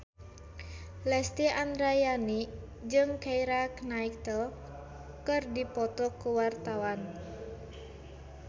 Lesti Andryani jeung Keira Knightley keur dipoto ku wartawan